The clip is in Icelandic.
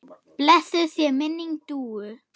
Blessuð sé minning Dúu.